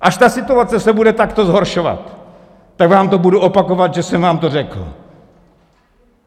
Až ta situace se bude takto zhoršovat, tak vám to budu opakovat, že jsem vám to řekl.